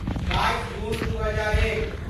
बाइस जून दू हजार एक